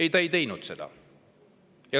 Ei, ta ei teinud seda.